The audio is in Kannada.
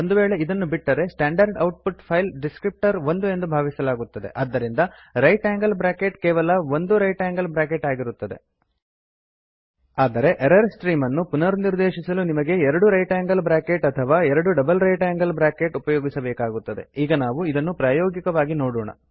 ಒಂದು ವೇಳೆ ಇದನ್ನು ಬಿಟ್ಟರೆ standard output file descriptor 1 ಎಂದು ಭಾವಿಸಲಾಗುತ್ತದೆ ಆದ್ದರಿಂದ ರೈಟ್ ಆಂಗಲ್ ಬ್ರ್ಯಾಕೆಟ್ ಕೇವಲ 1 ರೈಟ್ ಆಂಗಲ್ ಬ್ರ್ಯಾಕೆಟ್ ಆಗಿರುತ್ತದೆ ಆದರೆ ಎರರ್ ಸ್ಟ್ರೀಮ್ ಅನ್ನು ಪುನರ್ನಿರ್ದೇಶಿಸಲು ನಿಮಗೆ 2 ರೈಟ್ ಆಂಗಲ್ ಬ್ರ್ಯಾಕೆಟ್ ಅಥವಾ 2 ಡಬಲ್ ರೈಟ್ ಆಂಗಲ್ ಬ್ರ್ಯಾಕೆಟ್ ಉಪಯೋಗಿಸಬೇಕಾಗುತ್ತದೆ ಈಗ ನಾವು ಇದನ್ನು ಪ್ರಾಯೋಗಿಕವಾಗಿ ನೋಡೋಣ